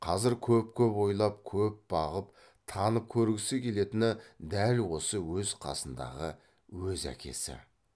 қазір көп көп ойлап көп бағып танып көргісі келетіні дәл осы өз қасындағы өз әкесі